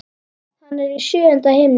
Hann er í sjöunda himni.